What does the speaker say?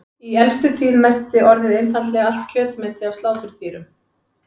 Í elstu tíð merkti orðið einfaldlega allt kjötmeti af sláturdýrum.